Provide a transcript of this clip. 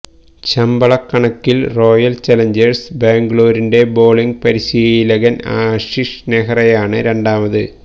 ശമ്പളക്കണക്കിൽ royal challengers ബാംഗ്ലൂരിന്റെ bowling പരിശീലകൻ ആശിഷ് നെഹ്റയാണ് രണ്ടാമത്